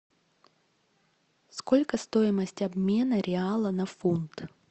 сколько стоимость обмена реала на фунт